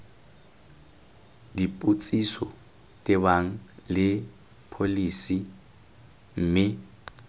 dipotsiso tebang le pholesi mme